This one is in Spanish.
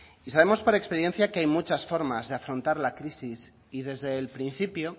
y sabemos por experiencia que hay muchas formas de afrontar la crisis y desde el principio